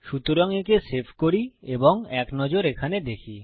সুতরাং একে সেভ করি এবং এক নজর এখানে দেখি